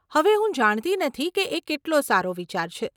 હવે હું જાણતી નથી કે એ કેટલો સારો વિચાર છે.